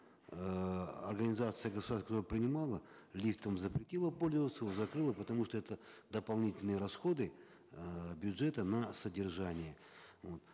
эээ организация которая принимала лифтом запретила пользоваться его закрыла потому что это дополнительные расходы э бюджета на содержание вот